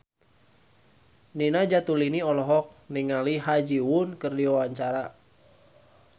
Nina Zatulini olohok ningali Ha Ji Won keur diwawancara